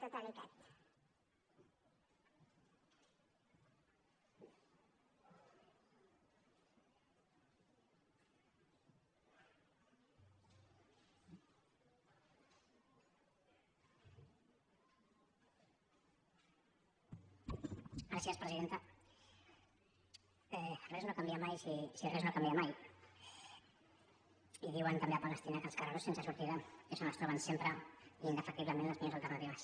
res no canvia mai si res no canvi mai i diuen també a palestina que els carrerons sense sortida és on es troben sempre indefectiblement les millors alternatives